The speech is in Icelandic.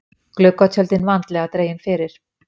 Gluggatjöldin vandlega dregin fyrir.